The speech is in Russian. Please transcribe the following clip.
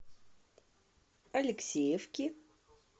алексеевки